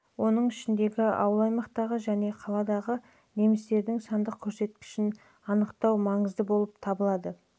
оның ішінде ауыл-аймақтардағы және қалалардағы немістердің сандық көрсеткішін анықтау маңызды болып табылады